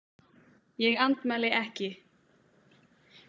Ég andmæli ekki.